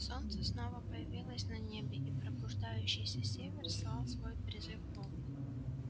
солнце снова появилось на небе и пробуждающийся север слал свой призыв волку